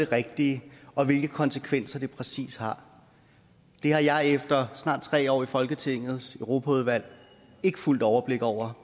rigtige og hvilke konsekvenser det præcis har har jeg efter snart tre år i folketingets europaudvalg ikke fuldt overblik over